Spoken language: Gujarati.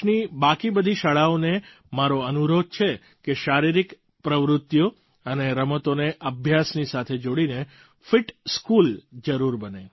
દેશની બાકી બધી શાળાઓને મારો અનુરોધ છે કે તે શારીરિક પ્રવૃત્તિઓ અને રમતોને અભ્યાસની સાથે જોડીને ફિટ સ્કૂલ જરૂર બને